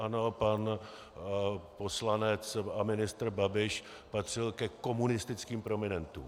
Ano, pan poslanec a ministr Babiš patřil ke komunistickým prominentům.